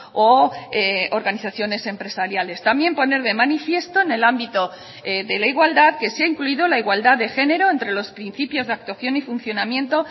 o organizaciones empresariales también poner de manifiesto en el ámbito de la igualdad que se ha incluido la igualdad de género entre los principios de actuación y funcionamiento